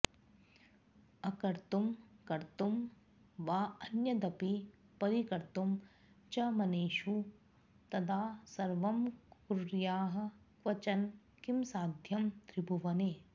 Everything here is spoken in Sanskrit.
अकर्तुं कर्तुं वाऽन्यदपि परिकर्तुं च मनुषे तदा सर्वं कुर्याः क्वचन किमसाध्यं त्रिभुवने